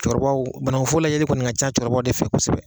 Cɛkɔrɔbaw banaŋufo layɛli kɔni ŋa ca cɛkɔrɔbaw de fɛ kosɛbɛ.